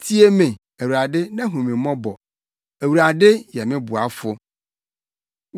Tie me, Awurade, na hu me mmɔbɔ! Awurade, yɛ me boafo.”